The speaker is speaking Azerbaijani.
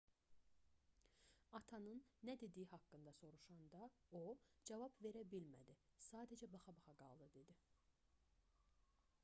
atanın nə dediyi haqqında soruşanda o cavab verə bilmədi sadəcə baxa-baxa qaldı dedi